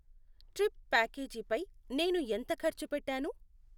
Trip ప్యాకేజీపై నేను ఎంత ఖర్చు పెట్టాను?